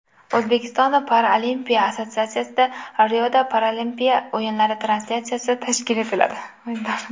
O‘zbekiston paralimpiya assotsiatsiyasida Riodagi Paralimpiya o‘yinlari translyatsiyasi tashkil etiladi.